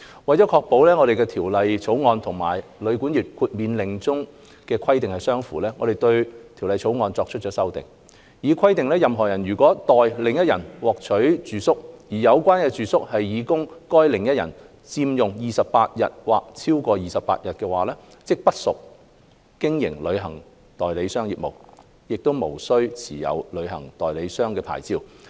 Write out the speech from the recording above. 為確保《條例草案》和《旅館業令》中的規定相符，我們對《條例草案》作出了修訂，以規定任何人如代另一人獲取住宿，而有關住宿是擬供該另一人佔用28天或超過28天，即不屬經營旅行代理商業務，無須持有旅行代理商牌照。